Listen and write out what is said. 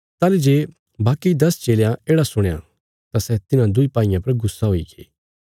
ताहली जे बाकी दस चेलयां येढ़ा सुणया तां सै तिन्हां दुईं भाईयां पर गुस्से हुईगे